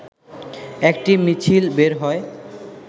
একটি মিছিল বের হয়